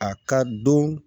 A ka don